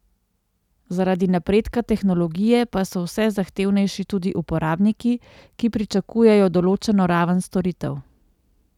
Zaradi napredka tehnologije pa so vse zahtevnejši tudi uporabniki, ki pričakujejo določeno raven storitev.